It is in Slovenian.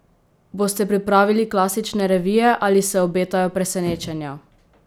Boste pripravili klasične revije ali se obetajo presenečenja?